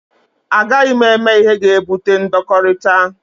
A gaghị m eme ihe ga-ebute ndọkọrita.